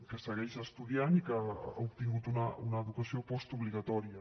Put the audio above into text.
que segueix estudiant i que ha obtingut una educació postobligatòria